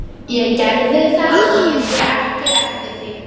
Ég gerði það og sé ekki eftir því.